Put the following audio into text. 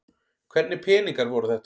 Hvernig peningar voru þetta?